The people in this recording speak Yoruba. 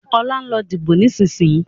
Ọlá, lọ dìbò ni ìsinsìnyí!